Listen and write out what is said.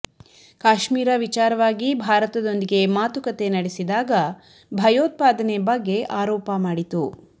ಕಾಶ್ಮೀರ ವಿಚಾರವಾಗಿ ಭಾರತದೊಂದಿಗೆ ಮಾತುಕತೆ ನಡೆಸಿದಾಗ ಭಯೋತ್ಪಾದನೆ ಬಗ್ಗೆ ಆರೋಪ ಮಾಡಿತು